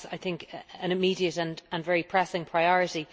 and that is, I think, an immediate and very pressing priority.